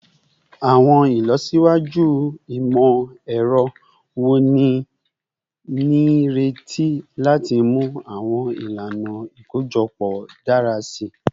Awọn ilọsiwaju imọ-ẹrọ wo ni a nireti lati mu awọn ilana ikojọpọ dara si?